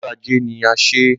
Ọjọ́ ajé ni a ṣé.